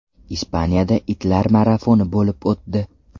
Ispaniyada itlar marafoni bo‘lib o‘tdi.